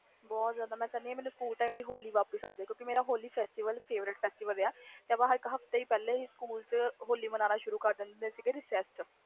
ਬਹੁਤ ਜਿਆਦਾ ਮੈਂ ਕਹਿਣੀ ਸਕੂਲ ਵਾਲੀ ਹੋਲੀ ਵਾਪਿਸ ਆ ਜੇ ਕਿਉਕਿ ਹੋਲੀ ਮੇਰਾ favorite fastival ਆ ਸਕੂਲ ਵਿਚ ਇਕ ਹਫਤੇ ਪਹਲੇ ਹੀ ਹੋਲੀ ਮਾਨਣਾ ਸ਼ੁਰੂ ਕਰਦਿੰਦੇ ਸੀ